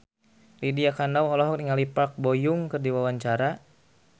Lydia Kandou olohok ningali Park Bo Yung keur diwawancara